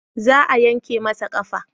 Za a yanka masa ƙafa